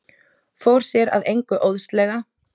Fór sér að engu óðslega.